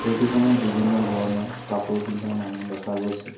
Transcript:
Photo খনত বিভিন্ন ধৰণৰ কাপোৰ পিন্ধা মানুহ দেখা গৈছে।